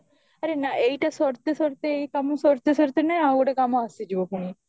ଆରେ ନା ଏଇଟା ସରତେ ସରତେ ଏଇ କାମ ସରୁତେ ସରୁତେ ନା ଆଉ ଗୋଟେ କାମ ଆସିଯିବ ପୁଣି